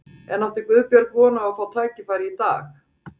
En átti Guðbjörg von á að fá tækifæri í dag?